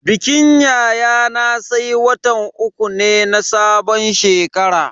Bikin yayana sai watan uku ne na sabon shekara.